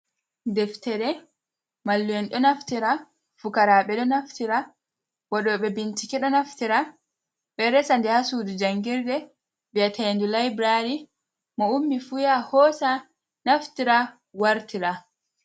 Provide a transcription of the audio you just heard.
Deftere mallu'en ɗo naftira fukaraɓe ɗo naftira waɗoɓe bincike ɗo naftira ɓeɗo resa nder sudu jangirde bi'ete ndu laibrary. Mo ummi fu yaha hosa naftira wartira.